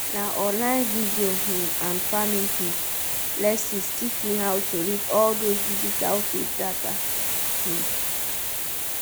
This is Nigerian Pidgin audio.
na online video um and farming um lessons teach me how to read all those digital field data